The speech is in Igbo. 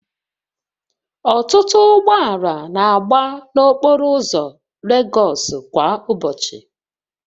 Ọtụtụ ụgbọ ala na-agba n'okporo ụzọ Legosu kwa ụbọchị